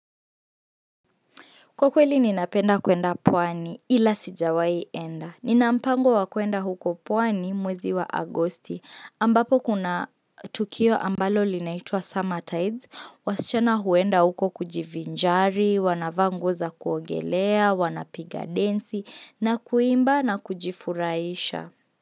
Kwa kweli ninapenda kuenda pwani ila sijawai enda. Nina mpango wa kuenda huko pwani mwezi wa agosti. Ambapo kuna tukio ambalo linaitwa summer tides. Wasichana huenda huko kujivinjari, wanavaa nguo za kuogelea, wanapiga densi, na kuimba na kujifurahisha.